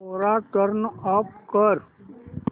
कोरा turn off कर